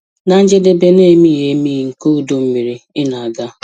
Na njedebe na-emighị emi nke ọdọ mmiri ị na-aga!